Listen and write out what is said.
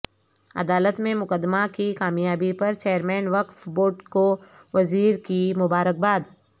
عدالت میں مقدمہ کی کامیابی پر چیرمین وقف بورڈ کو وزیر کی مبارکباد